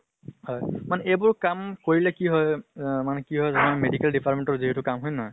হয়। মানে এইবোৰ কাম কৰিলে কি হয় অহ মানে কি হৌ জানা medical department ৰ যিহেতু কাম, হয় নে নহয়?